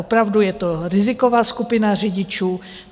Opravdu je to riziková skupina řidičů.